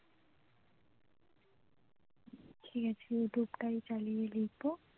ঠিক আছে youtube টাই চালিয়ে লিখবো